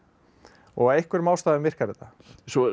og af einhverjum ástæðum virkar þetta svo